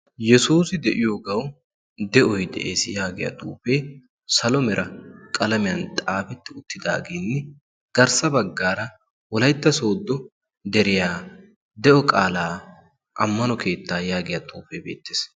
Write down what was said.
yesuusi de'iyoogawu de'oy de'ees. yaagiya xuufee salo mera qalamiyan xaafetti uttidaagin garssa baggaara wolaytta sooddo deriyaa de'o qaalaa ammano keettaa yaagiya xuufee beettees.